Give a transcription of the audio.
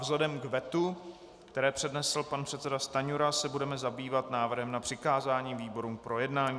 Vzhledem k vetu, které přednesl pan předseda Stanjura, se budeme zabývat návrhem na přikázání výborům k projednání.